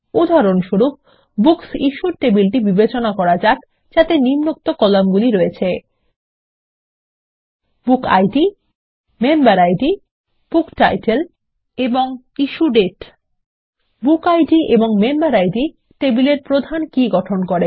উদাহরণস্বরূপ বুকসিশ্যুড টেবিলটি বিবেচনা করা যাক যাতে নিম্নোক্ত কলামগুলি রয়েছে160 বুকিড মেম্বেরিড বুকটাইটেল এবং ইস্যুডেট বুকিড এবং মেম্বেরিড টেবিলের প্রধান কী গঠন করে